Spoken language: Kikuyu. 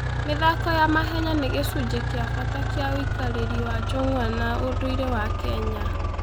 mĩthako ya mahenya nĩ gĩcunjĩ kĩa bata kĩa ũikarĩri wa njũng'wa na ũndũire wa Kenya.